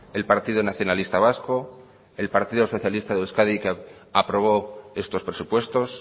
el partido nacionalista vasco el partido socialista de euskadi que aprobó estos presupuestos